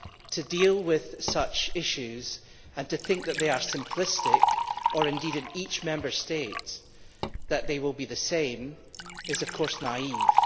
To deal with such issues and to think that they are simplistic or indeed that in each Member State they will be the same is, of course, naive.